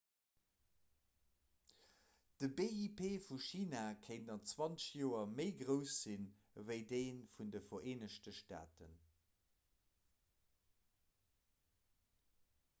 de bip vu china kéint an 20 joer méi grouss sinn ewéi dee vun de vereenegte staaten